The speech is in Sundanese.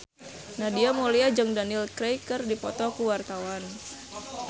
Nadia Mulya jeung Daniel Craig keur dipoto ku wartawan